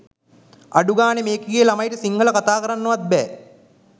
අඩුගානෙ මේකිගේ ළමයින්ට සිංහල කතාකරන්නවත් බෑ